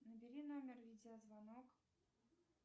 набери номер видеозвонок